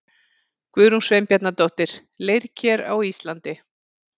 Guðrún Sveinbjarnardóttir, Leirker á Íslandi.